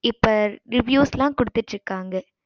இப்ப reviews குடுத்திட்டு இருக்காங்க